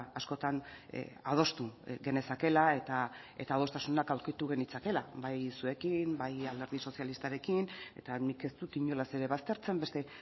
askotan adostu genezakeela eta adostasunak aurkitu genitzakeela bai zuekin bai alderdi sozialistarekin eta nik ez dut inolaz ere baztertzen beste